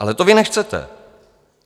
Ale to vy nechcete.